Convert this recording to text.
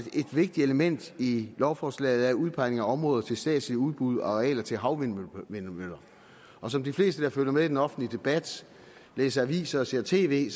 et vigtigt element i lovforslaget er udpegningen af områder til statslige udbud og arealer til havvindmøller og som de fleste der følger med i den offentlige debat læser aviser og ser tv